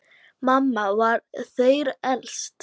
Mamma var þeirra elst.